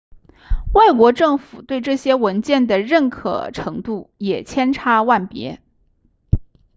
外国政府对这些文件的认可程度也千差万别